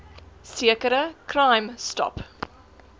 sekere crime stop